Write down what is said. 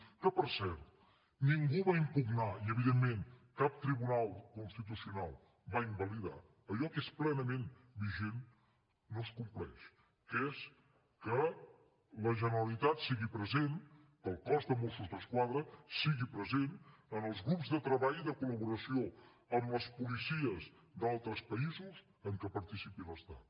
que per cert ningú va impugnar i evidentment cap tribunal constitucional va invalidar allò que és plenament vigent no es compleix que és que la generalitat sigui present que el cos de mossos d’esquadra sigui present en els grups de treball de col·laboració amb les policies d’altres països en què participi l’estat